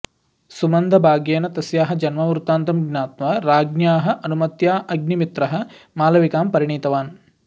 सुमन्दभाग्येन तस्याः जन्मवृत्तान्तं ज्ञात्वा राज्ञ्याः अनुमत्या अग्निमित्रः मालविकां परिणीतवान्